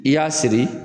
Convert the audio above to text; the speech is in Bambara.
I y'a siri